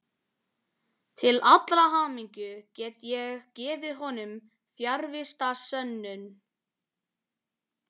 Til allrar hamingju get ég gefið honum fjarvistarsönnun.